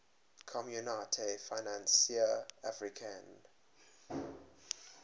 communaute financiere africaine